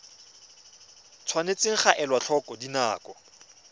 tshwanetse ga elwa tlhoko dinako